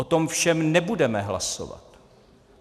O tom všem nebudeme hlasovat.